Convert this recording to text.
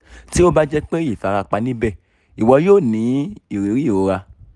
tí ó bá jẹ́ pé ìfarapa níbè iwọ yóò ní ìrírí ìrora